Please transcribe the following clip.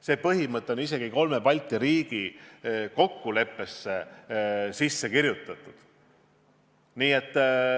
See põhimõte on isegi kolme Balti riigi kokkuleppesse sisse kirjutatud.